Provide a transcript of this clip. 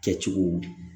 Kɛ cogo